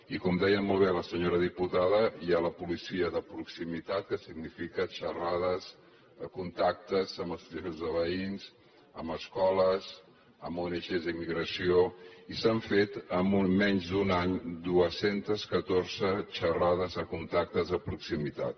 i com deia molt bé la senyora diputada hi ha la policia de proximitat que significa xerrades contactes amb associacions de veïns amb escoles amb ong d’immigració i s’han fet en menys d’un any dos cents i catorze xerrades de contactes de proximitat